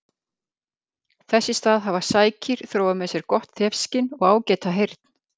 Þess í stað hafa sækýr þróað með sér gott þefskyn og ágæta heyrn.